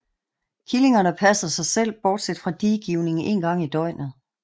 Killingerne passer sig selv bortset fra diegivning én gang i døgnet